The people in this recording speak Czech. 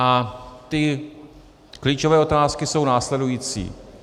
A ty klíčové otázky jsou následující.